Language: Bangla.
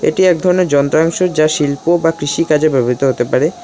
এটি এক ধরনের যন্ত্রাংশ যা শিল্প বা কৃষিকাজে ব্যবহৃত হতে পারে।